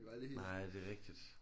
Nej det er rigtigt